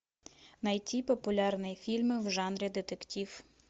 найти популярные фильмы в жанре детектив